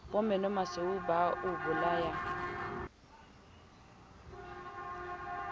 bo menomasweu ba o bolayang